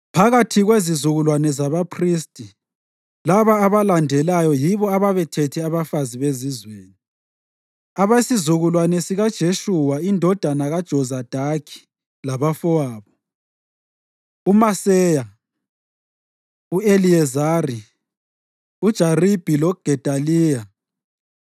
Phakathi kwezizukulwane zabaphristi, laba abalandelayo yibo ababethethe abafazi bezizweni: Abesizukulwane sikaJeshuwa indodana kaJozadaki labafowabo: uMaseya, u-Eliyezari, uJaribhi loGedaliya.